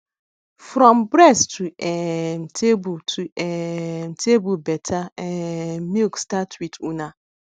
from breast to um table to um table better um milk start with una